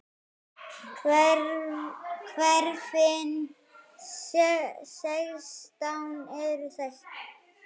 Hverfin sextán eru þessi